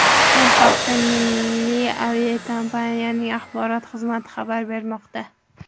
Bu haqda milliy aviakompaniyaning axborot xizmati xabar bermoqda .